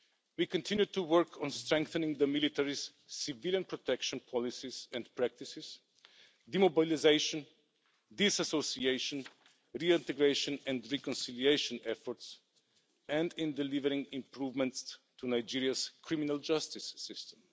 We continue to work on strengthening the military's civilian protection policies and practices, demobilisation, disassociation, reintegration and reconciliation efforts and in delivering improvements to Nigeria's criminal justice system.